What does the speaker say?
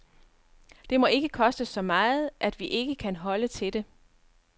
Det må ikke koste så meget, at vi ikke kan holde til det.